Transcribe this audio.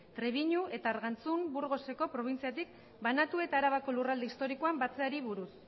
trebiñu eta argantzun burgoseko probintziatik banatu eta arabako lurralde historikoan batzeari buruz